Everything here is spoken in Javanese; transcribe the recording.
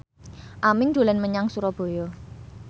Aming dolan menyang Surabaya